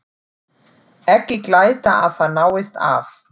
Ekki glæta að það náist af.